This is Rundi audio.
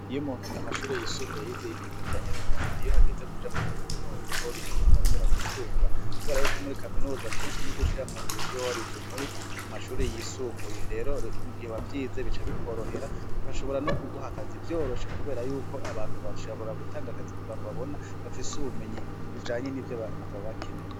Iyo umuntu, mu mashure yisumbuye, yize ibintu bijanye n'umwuga, iyo hageze kuja muri kaminuza hoho bica bimworohera gusumba. Kubera yuko muri kaminuza, kenshi ni ugushira mu ngiro ivyo uba warize mu mashure yisumbuye. Rero mu gihe wavyize bica bikworohera, bigashobora n'ukuguha akazi vyoroshe kubera yuko abantu bashobora gutanga akazi ku bantu babona bafise ubumenyi bujanye n'ivyo abantu baba bakeneye.